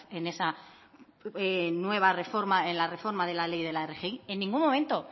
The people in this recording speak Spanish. en esa nueva reforma en la reforma de la ley de la rgi en ningún momento